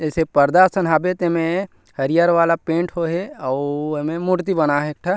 ऐसे पर्दा असन हवे ते में हरियर वाला पेंट होए हे अउ एमे मूर्ति बनाये हे एक ठा --